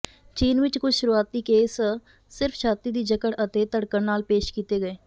ਚੀਨ ਵਿੱਚ ਕੁਝ ਸ਼ੁਰੂਆਤੀ ਕੇਸ ਸਿਰਫ ਛਾਤੀ ਦੀ ਜਕੜ ਅਤੇ ਧੜਕਣ ਨਾਲ ਪੇਸ਼ ਕੀਤੇ ਗਏ